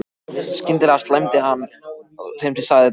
Skyndilega slæmdi hann þeim til drengsins og sagði